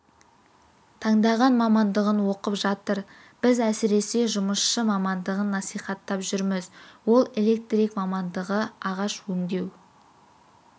таңдаған мамандығын оқып жатыр біз әсіресе жұмысшы мамандығын насихаттап жүрміз ол электрик мамандығы ағаш өңдеу